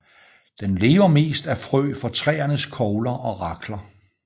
Den lever mest af frø fra træernes kogler og rakler